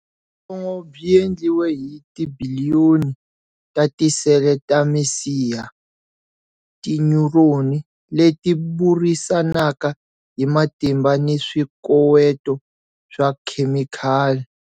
Byongo byi endliwe hi tibiliyoni ta tisele ta misiha, tinyuroni, leti burisanaka hi matimba ni swikoweto swa khemikhali.